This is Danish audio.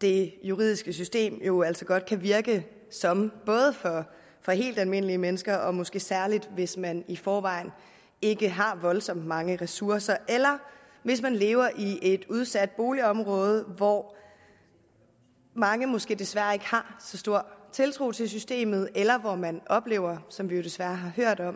det juridiske system jo altså godt kan virke som for helt almindelige mennesker men måske særligt hvis man i forvejen ikke har voldsomt mange ressourcer eller hvis man lever i et udsat boligområde hvor mange måske desværre ikke har så stor tiltro til systemet eller hvor man oplever som vi jo desværre har hørt om